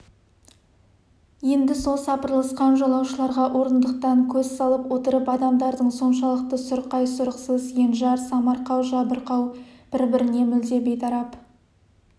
енді сол сапырылысқан жолаушыларға орындықтан көз салып отырып адамдардың соншалықты сұрқай сұрықсыз енжар самарқау жабырқау бір-біріне мүлде бейтарап